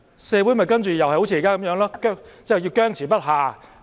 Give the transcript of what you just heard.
社會其後又會像現在一樣僵持不下。